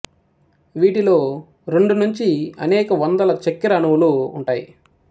వీటిలో రెండు నుంచి అనేక వందల చక్కెర అణువులు ఉంటాయి